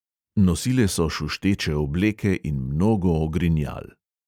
Nosile so šušteče obleke in mnogo ogrinjal.